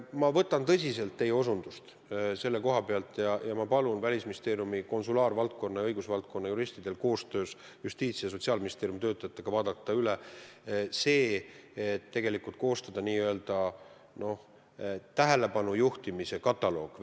Ma võtan tõsiselt teie osutust ja palun Välisministeeriumi konsulaarvaldkonna ja õigusvaldkonna juristidel koostöös Justiitsministeeriumi ja Sotsiaalministeeriumi töötajatega vaadata olemasolev info üle ja koostada Välisministeeriumi kodulehele n-ö tähelepanu juhtimise kataloog.